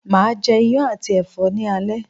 Máa je Iyán àti ẹ̀fọ́ ni alẹ́